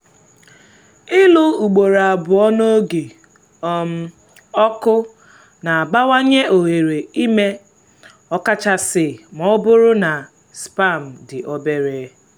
ịlụ ugboro abụọ n’oge um ọkụ na-abawanye ohere ime ọkachasị ma ọ bụrụ na sperm dị obere